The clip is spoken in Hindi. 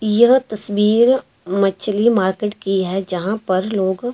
यह तस्वीर मछली मार्केट की है। जहां पर लोग--